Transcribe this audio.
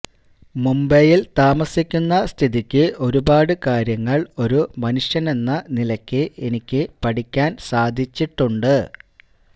മുംബൈയിൽ താമസിക്കുന്ന സ്ഥിതിക്ക് ഒരുപാടുകാര്യങ്ങൾ ഒരു മനുഷ്യനെന്ന നിലയ്ക്ക് എനിക്ക് പഠിക്കാൻ സാധിച്ചിട്ടുണ്ട്